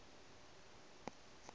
go be le dots go